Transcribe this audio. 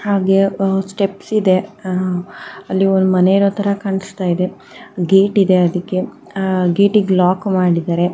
ಹಾಗೆ ಸ್ಟೆಪ್ಸ್ ಇದೆ ಆಹ್ಹ್ ಅಲ್ಲಿ ಒಂದ್ ಮನೆ ಇರೋ ತರ ಕಾಣಿಸ್ತಾ ಇದೆ ಗೇಟ್ ಇದೆ ಅದಿಕ್ಕೆ ಗೇಟಿ ಗೆ ಲಾಕ್ ಮಾಡಿದ್ದಾರೆ.